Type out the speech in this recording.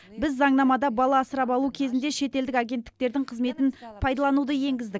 біз заңнамада бала асырап алу кезінде шетелдік агенттіктердің қызметін пайдалануды енгіздік